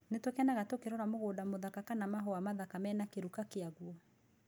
Nĩ tũkenaga tũkĩrorera mũgũnda mũthaka kana mahũa mathaka mena kĩruka kĩaguo.